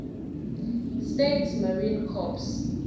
states marine corps